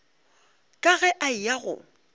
ka ge a eya go